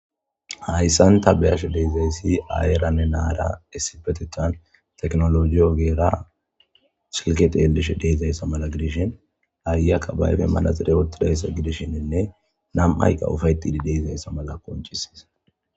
Hayisan ta be, ashe dizayisi ayeranne na,ara issippeteta tekinologe ogera silke xelishe dizasa mala gidishin ayiyaka be ashen axire wotidayisa gidishin na,mayika ufayixidi dizayisa mala qonc, ises